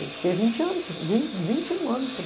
Eu fiquei vinte anos sem vin vinte um anos sem